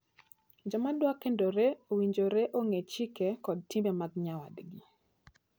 Joma dwa kendore owinjore ong'e chike kod timbe mag nyawadgi.